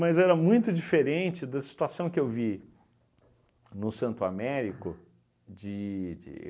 Mas era muito diferente da situação que eu vi no Santo Américo de de